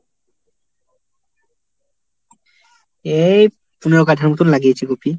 এই পনেরো কাঠার মতন লাগিয়েছ কপি।